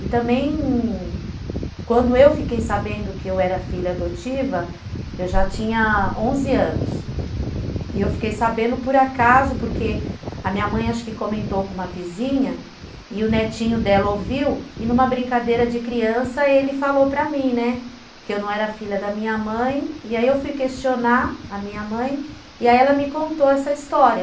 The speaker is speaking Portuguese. E também, quando eu fiquei sabendo que eu era filha adotiva, eu já tinha onze anos. E eu fiquei sabendo por acaso porque a minha mãe acho que comentou com uma vizinha e o netinho dela ouviu e numa brincadeira de criança ele falou para mim, né, que eu não era filha da minha mãe, e aí eu fui questionar a minha mãe e ela me contou essa história.